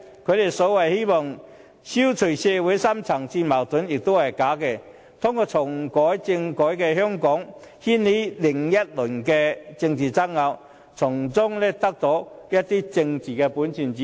他們說希望消除社會深層次矛盾也是假的，真正用意其實在於通過重啟政改在香港掀起另一輪政治爭拗，再從中掙得一些政治本錢。